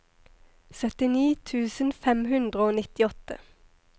syttini tusen fem hundre og nittiåtte